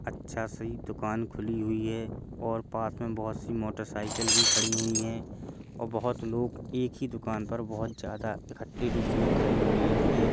अच्छा सी दुकान दिख खुली हुई है और पास में बहोत सी मोटरसाइकिल भी खड़ी हुई है और बहोत लोग एक ही दुकान पर बहोत ज्यादा इकट्ठे रूप मे खड़े हुए हैं।